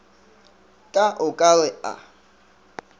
ka o ka re a